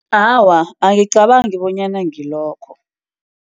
Awa, angicabangi bonyana ngilokho.